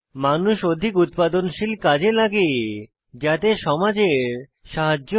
মানুষ অধিক উৎপাদনশীল কাজে লাগে যাতে সমাজের সাহায্য হয়